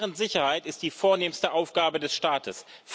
Deren Sicherheit ist die vornehmste Aufgabe des Staates.